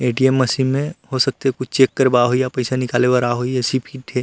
ATM machine में हो सकथे कुछ चेक करवा होही या पैसा निकाले बर आए होही ऐसी फिट हे।